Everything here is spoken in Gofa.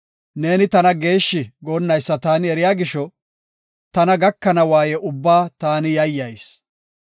Neeni tana geeshshi goonnaysa taani eriya gisho, tana gakana waaye ubbaa taani yayyayis.